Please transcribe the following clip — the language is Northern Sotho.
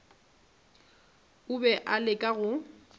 a be a leka go